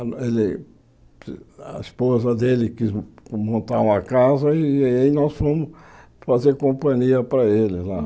Ele a esposa dele quis montar uma casa e aí nós fomos fazer companhia para ele lá.